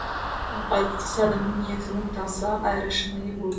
бастысы адамның ниетінің таза әрі шынайы болу